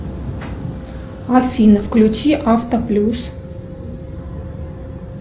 афина включи авто плюс